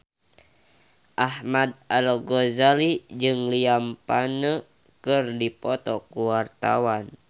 Ahmad Al-Ghazali jeung Liam Payne keur dipoto ku wartawan